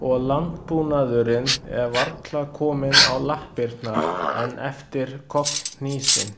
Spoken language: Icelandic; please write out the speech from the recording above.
Og landbúnaðurinn er varla kominn á lappirnar enn eftir kollhnísinn.